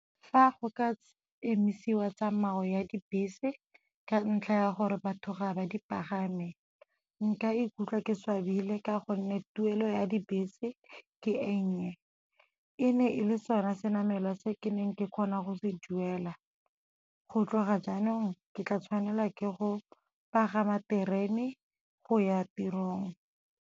Fa go ka emisiwa tsamao ya dibese ka ntlha ya gore batho ga ba di pagame, nka ikutlwa ke swabile ka gonne tuelo ya dibese ke e nnye. E ne e le sona se namelwa se ke neng ke kgona go se duela, go tloga jaanong ke tla tshwanela ke go pagama terene go ya tirong.